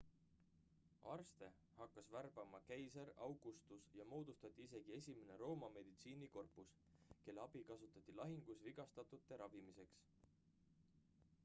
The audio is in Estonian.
arste hakkas värbama keiser augustus ja moodustati isegi esimene rooma meditsiinikorpus kelle abi kasutati lahingus vigastatute ravimiseks